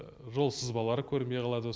жол сызбалары көрінбей қалады